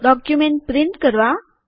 document print કરવા